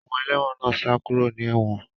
Àwọn ẹlẹ́wọ̀n sá kúrò ní ewon